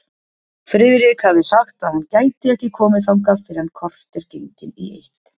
Friðrik hafði sagt að hann gæti ekki komið þangað fyrr en kortér gengin í eitt.